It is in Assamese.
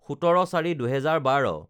১৭/০৪/২০১২